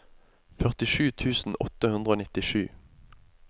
førtisju tusen åtte hundre og nittisju